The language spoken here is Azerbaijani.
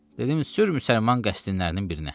Dedim: "Sür müsəlman qəsdinlərinin birinə."